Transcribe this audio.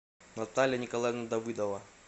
наталья николаевна давыдова